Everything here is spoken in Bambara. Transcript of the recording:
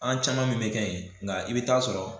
An caman min be kɛ ye nga i be t'a sɔrɔ